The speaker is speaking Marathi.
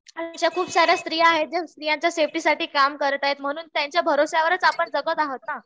अशा खूप साऱ्या स्त्रिया आहेत ज्या स्त्रीयांच्या सेफ्टीसाठी काम करतायेत म्हणून त्यांच्या भरवशावरच आपण जगत आहोत ना.